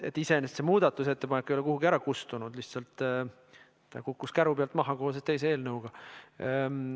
Iseenesest see muudatusettepanek ei ole kuidagi ära kustunud, ta lihtsalt kukkus käru pealt maha koos teise eelnõuga.